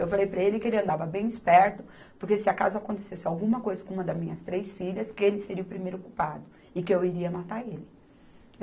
Eu falei para ele que ele andava bem esperto, porque se acaso acontecesse alguma coisa com uma das minhas três filhas, que ele seria o primeiro culpado e que eu iria matar ele.